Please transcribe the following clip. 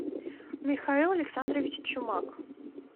михаил александрович чумак